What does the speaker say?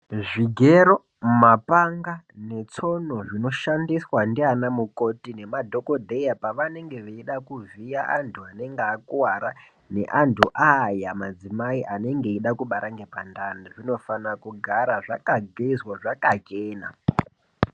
Zvigero ,mapanga ,netsono, zvinoshandiswa ndianamukkoti nemadhokodheya pavanenge veida kuvhiya antu anenge akuwara, neantu aaya madzimai anenge eida kubara ngepandani, zvinofanira kugara zvakagezwa zvakachena.